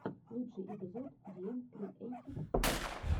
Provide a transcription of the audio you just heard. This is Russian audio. лучший эпизод диэм криэйтив скул